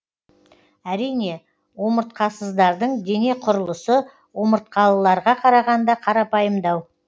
әрине омыртқасыздардың дене құрылысы омыртқалыларға қарағанда қарапайымдау